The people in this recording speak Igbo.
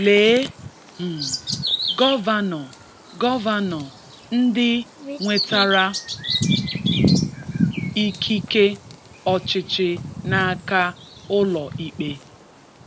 Lee um Gọvanọ Gọvanọ ndị nwetara ikike ọchịchị n'aka ụlọikpe